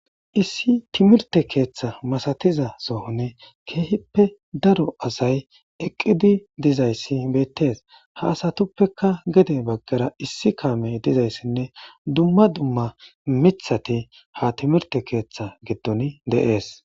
Issi timrte ketha masatiza sohon keehippe daro asay eqid dizays betes . Ha asatuppeka issi kamey dizaysinne dumma dumma mithat ha timrte ketha gidon de'es